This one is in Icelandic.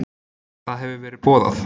Það hefur verið boðað.